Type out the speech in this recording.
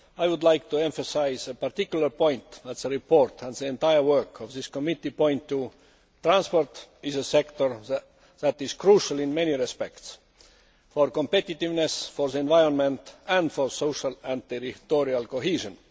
I would like to emphasise a particular point that the report and the entire work of this committee point to. Transport is a sector that is crucial in many respects for competitiveness, for the environment and for social and territorial cohesion.